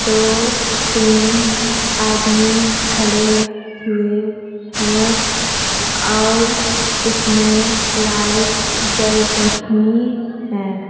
दो तीन आदमी खड़े हुए है और उसमे लाइट्स जल रही है।